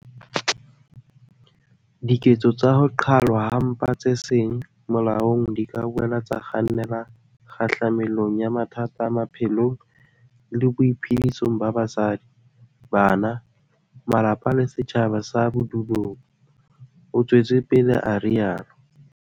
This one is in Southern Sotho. "Diketso tsa ho qhalwa ha mpa tse seng molaong di ka boela tsa kgannela kgahlamelong ya mathata a maphelong le boiphedisong ba basadi, bana, malapa le setjhaba sa bodulong," o tswetse pele a rialo.